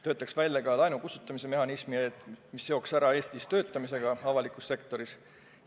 Võiksime välja töötada ka laenu kustutamise mehhanismi, mis ehk eeldaks Eestis avalikus sektoris töötamist.